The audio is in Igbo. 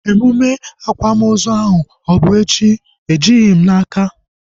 Emume akwamozu ahu ọ bụ echi? Ejighị m n'aka